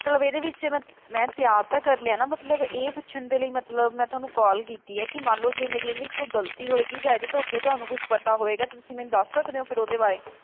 ਮਤਲਬ ਇਹਦੇ ਵਿੱਚ ਮੈਂ ਤਿਆਰ ਤਾਂ ਕਰ ਲਿਆ ਨਾ ਮਤਲਬ ਇਹ ਪੁੱਛਣ ਦੇ ਲਈ ਮਤਲਬ ਮੈਂ ਤੁਹਾਨੂੰ call ਕੀਤੀ ਆ ਕੀ ਮੰਨਲੋ ਜੇ ਮੇਰੀ ਇਹਦੇ ਵਿੱਚ ਕੋਈ ਗਲਤੀ ਹੋਏਗੀ ਜਾਂ ਇਹਦੇ ਤੋਂ ਅੱਗੇ ਤੁਹਾਨੂੰ ਕੁਛ ਪਤਾ ਹੋਏਗਾ ਤੁਸੀ ਮੈਨੂੰ ਦੱਸ ਸਕਦੇ ਹੋ ਫਿਰ ਉਹਦੇ ਬਾਰੇ,